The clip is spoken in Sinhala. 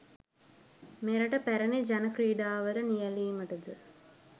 මෙරට පැරණි ජන ක්‍රීඩාවල නියැළීමට ද